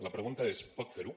la pregunta és pot fer ho